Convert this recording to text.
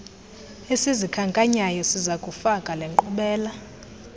esizikhankanyayo sizakufaka lenkqubela